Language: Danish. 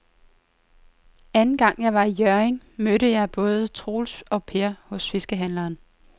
Anden gang jeg var i Hjørring, mødte jeg både Troels og Per hos fiskehandlerne.